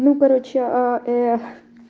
ну и короче а